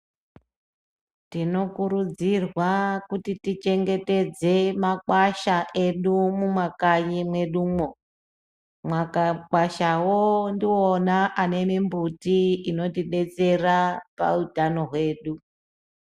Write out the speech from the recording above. Tinokurudzirwa kuti tichengetedze makwasha edu mumakanyi mwedumwo mwakakwashawo ndiona anemumbuti inotidetsera pautautano hwedu.